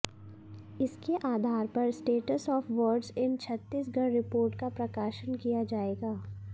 इसके आधार पर status of words in Chhattisgarh report का प्रकाशन किया जाएगा